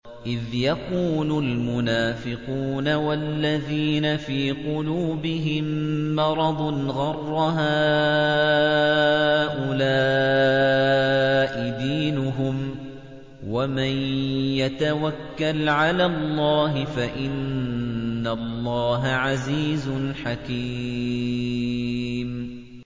إِذْ يَقُولُ الْمُنَافِقُونَ وَالَّذِينَ فِي قُلُوبِهِم مَّرَضٌ غَرَّ هَٰؤُلَاءِ دِينُهُمْ ۗ وَمَن يَتَوَكَّلْ عَلَى اللَّهِ فَإِنَّ اللَّهَ عَزِيزٌ حَكِيمٌ